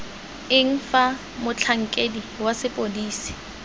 eng fa motlhankedi wa sepodisi